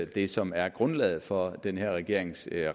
det som er grundlaget for den her regerings